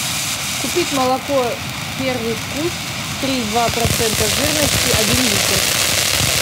купить молоко первый вкус три и два процента жирности один литр